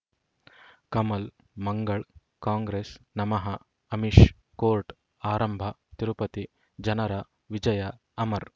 ಕಮಲ್ ಮಂಗಳ್ ಕಾಂಗ್ರೆಸ್ ನಮಃ ಅಮಿಷ್ ಕೋರ್ಟ್ ಆರಂಭ ತಿರುಪತಿ ಜನರ ವಿಜಯ ಅಮರ್